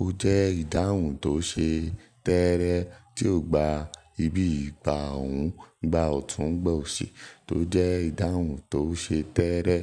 ó jẹ́ ìdáhùn tó ṣe tẹ́ẹ́rẹ́ tí ò gba ibi ìgbà ọ̀hún, ìgbà ọ̀tún gbọ̀nsẹ̀ tó jẹ́ ìdáhùn tó ṣe tẹ́ẹ́rẹ́.